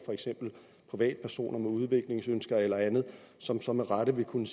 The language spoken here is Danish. privatpersoner med udviklingsønsker eller andet som så med rette vil kunne